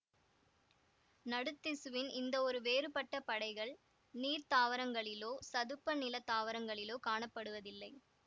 நடுத்திசுவின் இந்த இரு வேறுபட்ட படைகள் நீர் தாவரங்களிலோ சதுப்பு நில தாவரங்களிலோ காணப்படுவதில்லை